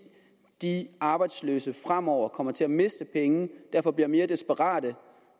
de arbejdsløse fremover kommer til at miste penge og derfor bliver mere desperate